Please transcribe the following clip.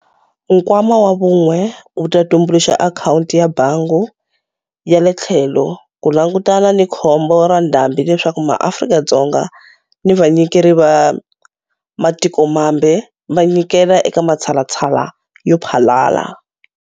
Nkwama wa Vun'we wu ta tumbuluxa akhawunti ya bangi ya le tlhelo ku langutana ni khombo ra ndhambi leswaku MaAfrika-Dzonga ni vanyikeri va matikomambe va nyikela eka matshalatshala yo phalala.